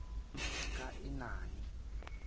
kaenani